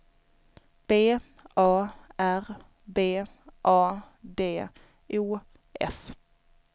B A R B A D O S